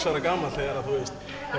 ára gamall þegar